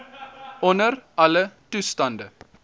onder alle toestande